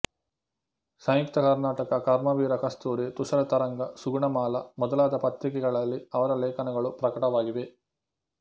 ಸಂಯುಕ್ತ ಕರ್ನಾಟಕ ಕರ್ಮವೀರ ಕಸ್ತೂರಿ ತುಷಾರ ತರಂಗ ಸುಗುಣಮಾಲಾ ಮೊದಲಾದ ಪತ್ರಿಕೆಗಳಲ್ಲಿ ಅವರ ಲೇಖನಗಳು ಪ್ರಕಟವಾಗಿವೆ